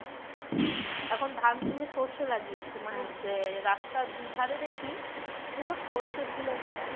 এখন ধান তুলে সরষে লাগিয়েছে মানে রাস্তার দু ধারে দেখি পুরো সরষে ফুলে ভরা